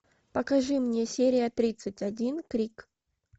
покажи мне серия тридцать один крик